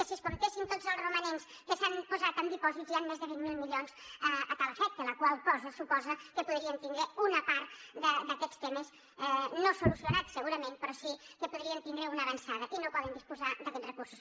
si es comptessin tots els romanents que s’han posat en dipòsits hi han més de vint miler milions a tal efecte la qual cosa suposa que podríem tindre una part d’aquests temes no solucionats segurament però sí que hi podríem tindre una avançada i no podem disposar d’aquests recursos